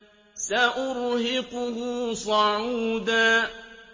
سَأُرْهِقُهُ صَعُودًا